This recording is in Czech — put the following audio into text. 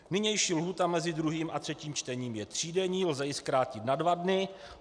Nynější lhůta mezi druhým a třetím čtením je třídenní, lze ji zkrátit na dva dny.